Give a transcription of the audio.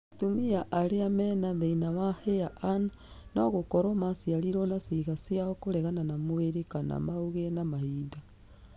Atumia arĩa mena thĩna wa HAIR AN nogũkorwo maciarirwo na ciĩga ciao kũregana na mwĩrĩ kana maũgĩe na mahinda